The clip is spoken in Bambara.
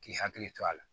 K'i hakili to a la